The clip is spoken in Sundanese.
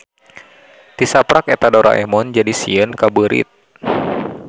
Ti saprak eta Doraemon jadi sieun ka beurit.